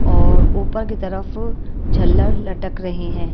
और ऊपर की तरफ झल्लर लटक रहे हैं।